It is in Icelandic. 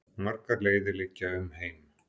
Margar leiðir liggja um heim.